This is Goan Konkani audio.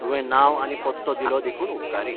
तुवें नांव आनी पत्तो दिलो देखून उपकारी.